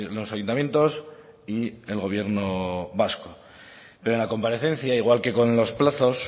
los ayuntamientos y el gobierno vasco pero en la comparecencia igual que con los plazos